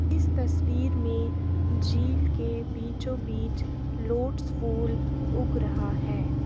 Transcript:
इस तस्वीर में झील के बीचों बीच लोटस फूल उग रहा है।